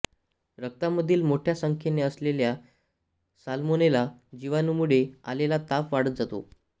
रक्तामधील मोठ्या संख्येने असलेल्या सालमोनेला जिवाणूमुळे आलेला ताप वाढत जातो